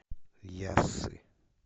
яссы